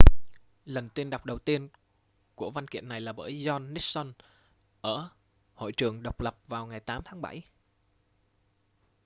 lần tuyên đọc đầu tiên của văn kiện này là bởi john nixon ở hội trường độc lập vào ngày 8 tháng bảy